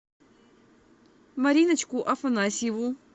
мариночку афанасьеву